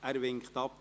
– Er winkt ab.